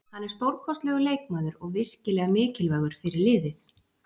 Hann er stórkostlegur leikmaður og virkilega mikilvægur fyrir liðið.